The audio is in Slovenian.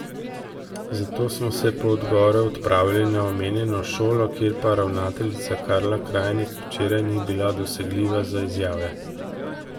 Zato smo se po odgovore odpravili na omenjeno šolo, kjer pa ravnateljica Karla Krajnik včeraj ni bila dosegljiva za izjave.